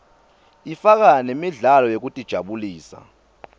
ifaka nemidlalo yekutijabulisa